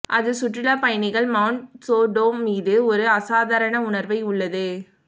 அது சுற்றுலா பயணிகள் மவுண்ட் சோடோம் மீது ஒரு அசாதாரண உணர்வை உள்ளது